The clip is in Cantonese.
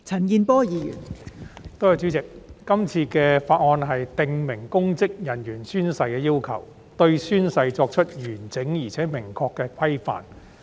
代理主席，《2021年公職條例草案》訂明公職人員宣誓的要求，對宣誓作出完整而明確的規範。